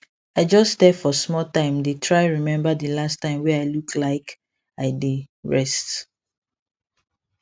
i just stare for small time dae try remember the last time wae i look like i dae rest